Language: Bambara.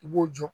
I b'o jɔ